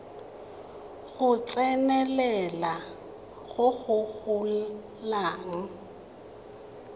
go tsenelela go go golang